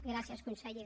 gràcies conseller